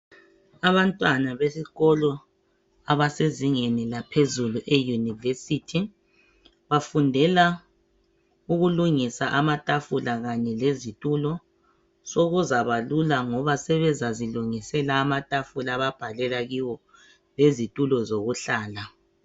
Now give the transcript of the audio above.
Abantwana besikolo abasezingeni laphezulu eyunivesithi, bafundela ukulungisa amatafula kanye lezitulo .Sokuzaba lula ngoba sebezazilungisela amatafula ababhalela kiwo lezitulo zokuhlala .